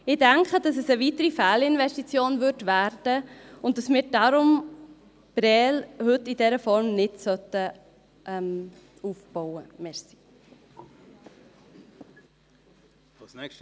Ich denke, dass es eine weitere Fehlinvestition werden würde und wir deshalb Prêles heute in dieser Form nicht aufbauen sollten.